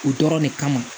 O dɔrɔn de kama